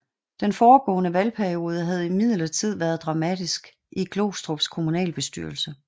Den foregående valgperiode havde imidlertid været dramatisk i Glostrups kommunalbestyrelse